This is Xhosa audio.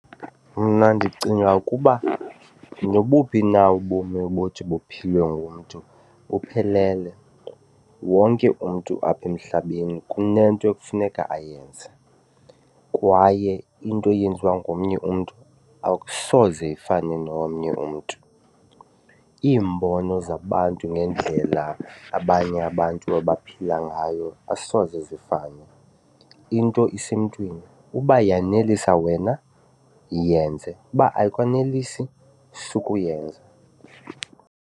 Mna ndicinga ukuba nobuphi na ubomi obuthi buphilwe ngumntu buphelele, wonke umntu apha emhlabeni kunento ekufuneka ayenze kwaye into eyenziwa ngomnye umntu akusoze ifane nomnye umntu. Iimbono zabantu ngendlela abanye abantu abaphila ngayo asoze zifane, into isemntwini. Uba yanelisa wena yenze, uba ayikwanelisi sukuyenza.